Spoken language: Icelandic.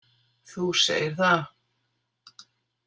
Þú segir það.